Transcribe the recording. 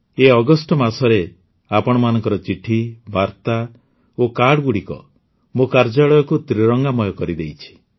ଏହି ଅଗଷ୍ଟ ମାସରେ ଆପଣମାନଙ୍କ ଚିଠି ବାର୍ତ୍ତା ଓ କାର୍ଡ଼ଗୁଡ଼ିକ ମୋ କାର୍ଯ୍ୟାଳୟକୁ ତ୍ରିରଙ୍ଗାମୟ କରିଦେଇଛି